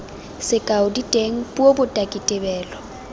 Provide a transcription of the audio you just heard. sekao diteng puo botaki tebelo